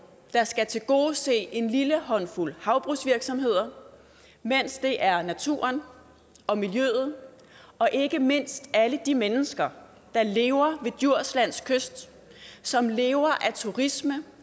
der skal tilgodese en lille håndfuld havbrugsvirksomheder mens det er naturen og miljøet og ikke mindst alle de mennesker der lever ved djurslands kyst som lever af turisme